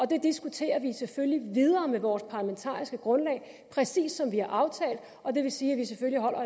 det diskuterer vi selvfølgelig videre med vores parlamentariske grundlag præcis som vi har aftalt og det vil sige at vi selvfølgelig holder